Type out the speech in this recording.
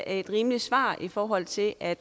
er et rimeligt svar i forhold til at